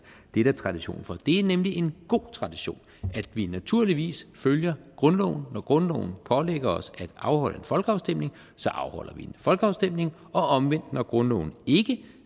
det er der tradition for det er nemlig en god tradition at vi naturligvis følger grundloven når grundloven pålægger os at afholde en folkeafstemning så afholder vi en folkeafstemning og omvendt når grundloven ikke